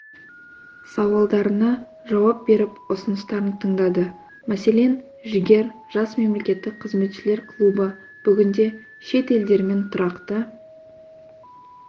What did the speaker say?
сауалдарына жауап беріп ұсыныстарын тыңдады мәселен жігер жас мемлекеттік қызметшілер клубы бүгінде шет елдермен тұрақты